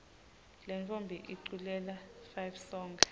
lentfombi iculela fivesonkhe